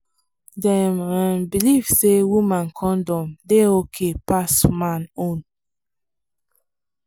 dem um believe say woman condom dey okay pass man own.